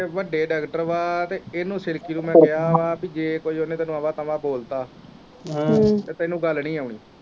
ਵੱਡੇ ਡਾਕਟਰ ਵਾ ਤੇ ਇਹਨੂੰ ਸਿਰਕੀ ਨੂੰ ਮੈਂ ਕਿਹਾ ਵਾ ਪੀ ਜ ਕੁਝ ਓਨੇ ਤੈਨੂੰ ਅਵਾ ਤਵਾ ਬੋਲਤਾ ਤੇ ਤੈਨੂੰ ਗੱਲ ਨੀ ਆਉਣੀਂ।